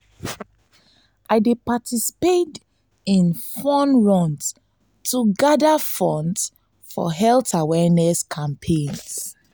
i dey participate in fun runs to gather funds for health awareness campaigns.